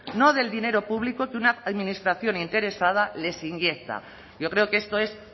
no del dinero público que una administración interesada les inyecta yo creo que esto es